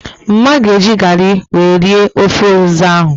Mma ga eji garị wee rie ofe ụzịza ahụ